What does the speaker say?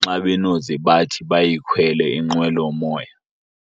nxa benoze bathi bayikhwele inqwelomoya.